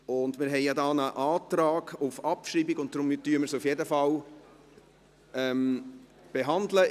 Es gibt ja einen Antrag auf Abschreibung, weshalb wir dies auf jeden Fall behandeln.